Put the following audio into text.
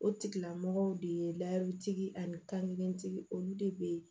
O tigilamɔgɔw de ye layirutigi ani kankɛntigi olu de bɛ